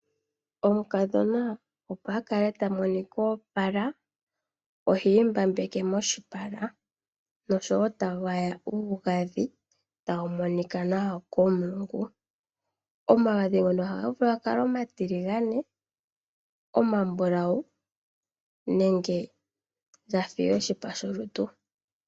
Omukadhona opo akale tamonika oopala oha imbabeke moshipala noshowo ta gwaya omagadhi taga monika nawa komulungu. Omagadhi ngono ohaga vulu ga kale omatiligane, omambulawu nenge gafa oshipa sholutu.